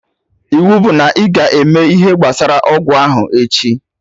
Iwu bụ na ịga eme ihe gbasara ọgwụ ahụ echi